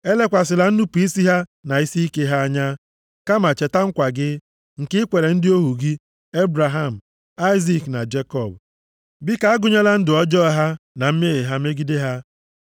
Elekwasịla nnupu isi ha na isiike ha anya, kama, cheta nkwa gị, nke i kwere ndị ohu gị, Ebraham, Aịzik, na Jekọb. Biko, agụnyela ndụ ọjọọ ha, na mmehie ha megide ha.